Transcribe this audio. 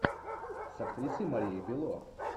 с актрисой марией белло